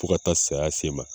Fɔ ka taa saya sen i ma